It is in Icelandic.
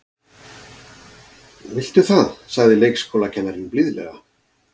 Viltu það sagði leikskólakennarinn blíðlega.